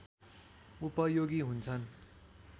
उपयोगी हुन्छन्